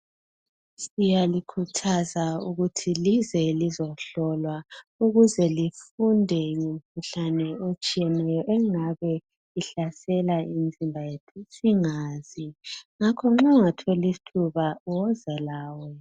Siyalikhuthaza ukuthi lize lizohlolwa ukuze lifunde ngomkhuhlane otshiyeneyo engabe ihlasela imizimba yethu singazi ngakho nxa ungathola ithuba woza lawe.